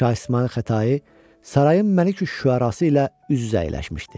Şah İsmayıl Xətai sarayın Məlikiş-Şüərası ilə üz-üzə əyləşmişdi.